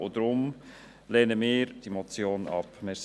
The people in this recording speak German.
Deshalb lehnen wir diese Motion ab.